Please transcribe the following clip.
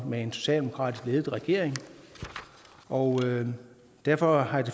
med en socialdemokratisk ledet regering og derfor har jeg